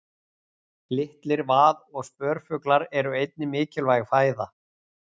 Litlir vað- og spörfuglar eru einnig mikilvæg fæða.